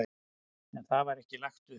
En það var ekki lagt upp.